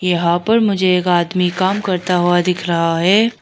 यहां पर मुझे एक आदमी काम करता हुआ दिख रहा है।